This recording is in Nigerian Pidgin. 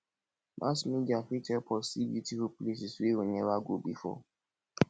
mass media fit help us see beautiful places wey we neva go before